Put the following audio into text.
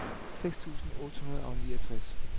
seks tusind otte hundrede og niogtres